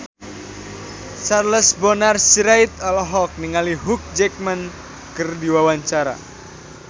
Charles Bonar Sirait olohok ningali Hugh Jackman keur diwawancara